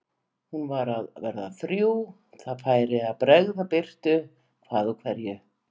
Hún var að verða þrjú, það færi að bregða birtu hvað úr hverju.